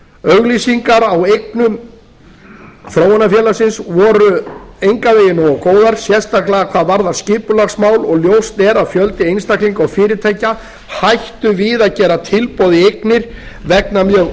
auglýsingar á eignum þróunarfélagsins voru engan veginn nógu góðar sérstaklega hvað varðar skipulagsmál og ljóst er að fjöldi einstaklinga og fyrirtækja hættu við að gera tilboð í eignir vegna mjög